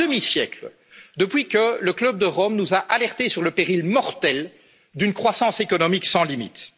un demi siècle depuis que le club de Rome nous a alertés sur le péril mortel d'une croissance économique sans